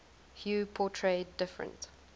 hue portray different